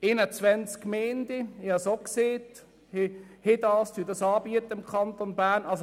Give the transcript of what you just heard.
21 Gemeinden im Kanton Bern – ich habe es auch gesagt – bieten dies an.